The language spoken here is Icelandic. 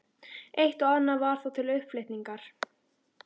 Eitt og annað var þó til upplyftingar.